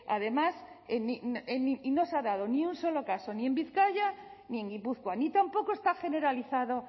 además no se ha dado ni un solo caso ni en bizkaia ni en gipuzkoa ni tampoco está generalizado